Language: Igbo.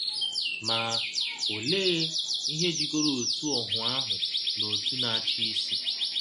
Ma, ọlee um ihe jikọrọ ọtụ ọhụ ahụ na ọtụ Na - achị Isi?